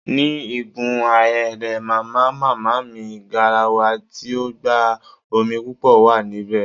Ní igun ahéré Màmá màmá mi, garawa tí ó gba omi púpò wà níbè